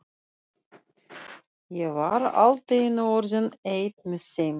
Ég var allt í einu orðinn einn með þeim.